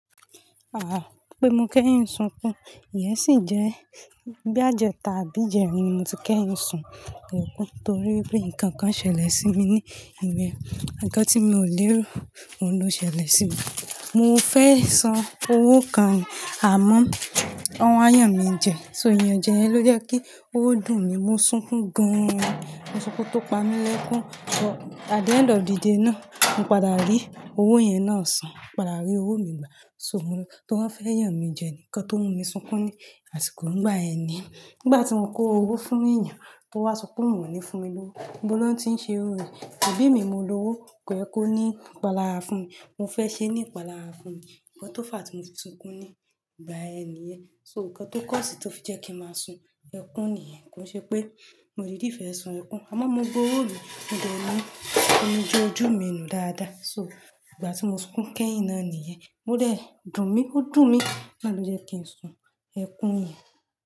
Ah, pé mo kẹ́yin ń sunkún, ìyẹ́ sì jẹ́ boys ijẹtà, sbí ìjẹrin ni mo ti kẹ́yin ń sun ẹkún torí wipé nǹkan kan ṣẹlẹ̀ sí mi ní ilẹ̀ ǹkan tí mi ò lè ro, òun ló ṣẹlẹ̀ sí mi. Mo fẹ́ san owó kan, àmọ́, wọn wá yàn mi jẹ, so ìyànjẹ yẹn ló jẹ́ kí ó dùn mi, mo sunkún gan-an, mo sunkún tó pa mí lẹ́kún, but at the end of the day náà, mo padà rí owó yẹn náà sàn, padà rí owó mi gbà, so mo lọ, torí wọ́n fẹ́ yàn mi jẹ ní ǹkan tó mú mi sunkún ní àsìkò ńgbà yẹn ni yẹn. Nígbà tí mo kó owó fún èèyàn tó wá sọ wípé, òun ò ní fún mi lówó, ibo wọ́n ti ń ṣe irú rẹ̀, "àbí èmi mo lọ́wọ́, kọ ye kó ní ìpàlàárà fún mi", mo fẹ́ ṣe ní ìpàlàárà fún mi, ǹkan tó fà á tí mo ti sunkún ní ìgbà ẹni yẹn. So ǹkan tó cause tó fi jẹ́ kí ma sun ẹkún nìyẹn, kí ó ṣe pé mo di fẹ́ sun ẹkún nìyẹn, àmọ́ mo gbọ́ òwo mi mode omi jẹ ojú mi nù dáadáa. So ìgbà tí mo sunkún kẹ́yìn náà nìyẹn, ó dẹ̀ dùn mí, ó dùn mí, náà ló jẹ́ kí n sun ẹkún yẹn.